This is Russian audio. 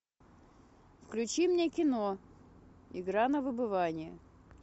включи мне кино игра на выбывание